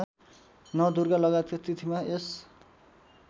नवदुर्गालगायतका तिथिमा यस